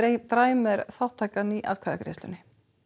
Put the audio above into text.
dræm er þátttaka í atkvæðagreiðslunni